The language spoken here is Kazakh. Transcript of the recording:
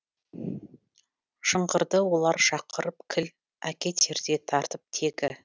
шыңғырды олар шақырып кіл әкетердей тартып тегі